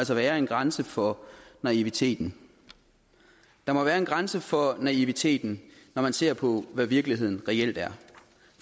være en grænse for naiviteten der må være en grænse for naiviteten når man ser på hvad virkeligheden reelt er